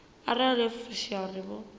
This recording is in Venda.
arali yo fushea uri vho